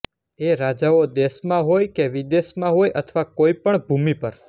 એ રાજાઓ દેશમાં હોય કે વિદેશમાં હોય અથવા કોઈ પણ ભૂમિ પર